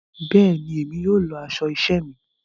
Béèni, Èmi yóò lọ aṣọ iṣẹ mí